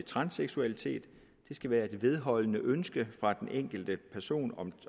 transseksualitet det skal være et vedholdende ønske fra den enkelte person